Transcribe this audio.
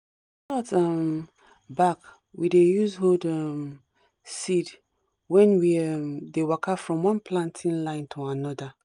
coconut um back we dey use hold um seed when we um dey waka from one planting line to another